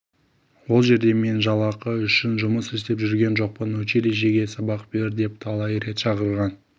ол жерде мен жалақы үшін жұмыс істеп жүрген жоқпын училищеге сабақ бер деп талай рет шақырған